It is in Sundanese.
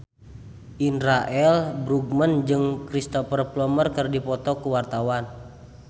Indra L. Bruggman jeung Cristhoper Plumer keur dipoto ku wartawan